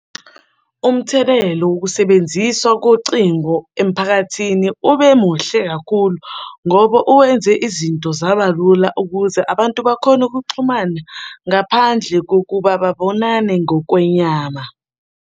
Umthelelo wokusebenziswa kocingo emphakathini ube muhle kakhulu ngoba wenze izinto zaba lula ukuze abantu bakhone ukuxhumana ngaphandle kokuba babonane ngokwenyama.